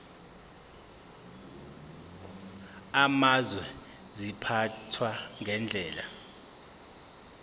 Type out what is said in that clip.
amazwe ziphathwa ngendlela